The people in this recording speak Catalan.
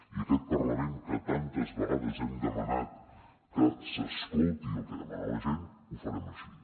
i aquest parlament que tantes vegades hem demanat que s’escolti el que demana la gent ho farem així